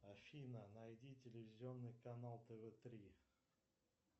афина найди телевизионный канал тв три